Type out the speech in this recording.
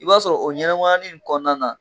I b'a sɔrɔ o ɲɛnɛmaya nin kɔnɔna na.